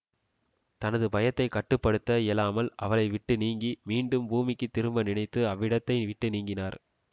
தனது பயத்தை கட்டு படுத்த இயலாமல் அவளை விட்டு நீங்கி மீண்டும் பூமிக்கு திரும்ப நினைத்து அவ்விடத்தை விட்டு நீங்கினார்